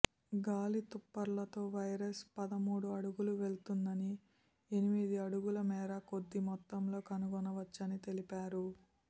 గాలి తుంపర్లతో వైరస్ పదమూడు అడుగులు వెళుతుందని ఎనిమిది అడుగుల మేర కొద్ది మొత్తంలో కనుగొనవచ్చని తెలిపారు